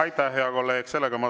Aitäh, hea kolleeg!